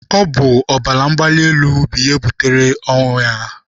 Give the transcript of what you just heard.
Ọ bụ ọbara mgbali elu ahụ butere ọnwụ ya?